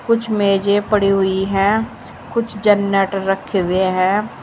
कुछ मेजे पड़ी हुई है कुछ जारनेटर रखे हुए हैं।